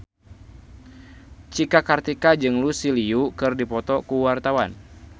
Cika Kartika jeung Lucy Liu keur dipoto ku wartawan